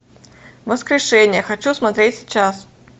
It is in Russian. воскрешение хочу смотреть сейчас